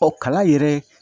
Ɔ kalan yɛrɛ